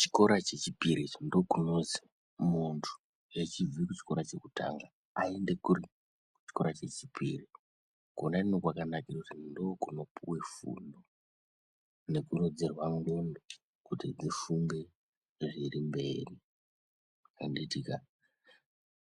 Chikora chechipiri ndokunonzi munhu echibva kuchikora chekutanga aende kuri ? kuchikora chechipiri kwona uko kwakanakira kuti ndokunopuwa fundo nekuro dzerwa ndxondo kuti dzifunge zviri mberi handitika